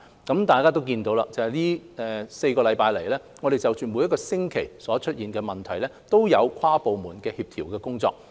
大家都看到，這4星期以來，我們就着每個星期所出現的問題，均有跨部門的協調工作。